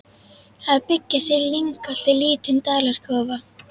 Að byggja sér í lyngholti lítinn dalakofa.